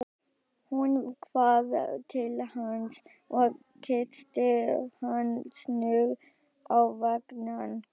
Hún hvarf til hans og kyssti hann snöggt á vangann.